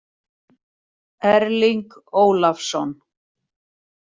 Erling Ólafsson.